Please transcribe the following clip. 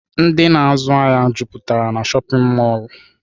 Ndị na azụ ahịa jụputara n'shopịn mọrlụ.